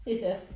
Ja